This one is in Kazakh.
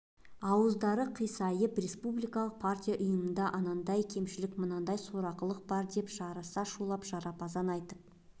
ауыздары қисайып республикалық партия ұйымында анандай кемшілік мынандай сорақылық бар деп жарыса шулап жарапазан айтып